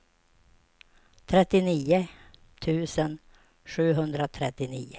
trettionio tusen sjuhundratrettionio